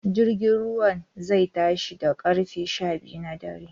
Jirgin ruwan zai tashi da ƙarfe sha biyu na dare